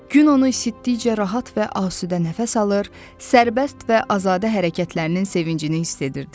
Gün onu isitdikcə rahat və asudə nəfəs alır, sərbəst və azadə hərəkətlərinin sevincini hiss edirdi.